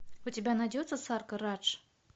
у тебя найдется саркар радж